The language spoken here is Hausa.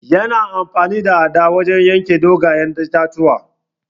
Ya na amfani da adda wajen yanke dogayen itatuwa.